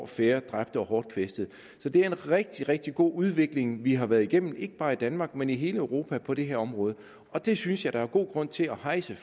færre dræbte og hårdt kvæstede så det er en rigtig rigtig god udvikling vi har været igennem ikke bare i danmark men i hele europa på det her område og det synes jeg der er god grund til at hejse